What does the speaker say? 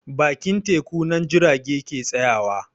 Bakin teku nan jirage ke tsayawa